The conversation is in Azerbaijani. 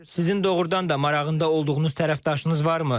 Sizin doğurdan da marağında olduğunuz tərəfdaşınız varmı?